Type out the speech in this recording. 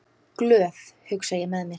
Glöð, hugsa ég með mér.